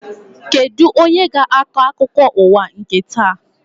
Kedụ onye ga-akọ akụkọ ụwa nke taa?